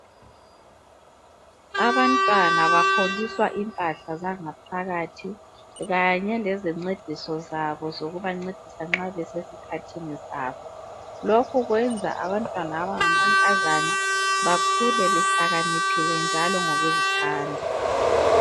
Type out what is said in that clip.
Abantwana baholiswa impahla zangaphakathi kanye lezincediso zabo zokubancedisa nxa besesikhathini sabo lokhu kwenza abantwana abangamankazana bakhule behlakaniphile njalo ngokuzithanda.